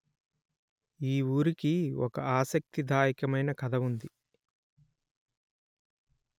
ఈ ఊరికి ఒక ఆసక్తి దాయకమైన కథ ఉంది